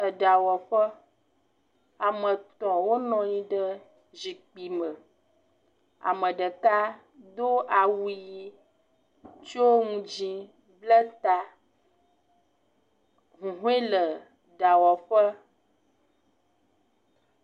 Eɖawɔƒe, ame etɔ̃ wonɔ anyi ɖe zikpui me, ame ɖeka do awu ʋi tso nu dzɛ̃ bla ta, huhɔe le ɖawɔƒe.